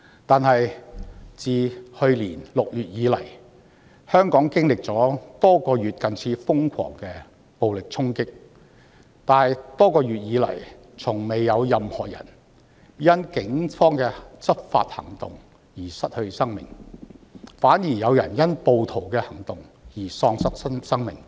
不過，自去年6月以來，雖然香港經歷多月近似瘋狂的暴力衝擊，但卻從未有任何人因警方的執法行動而失去性命，反而有人因暴徒的行動而喪失性命。